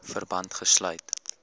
verband gesluit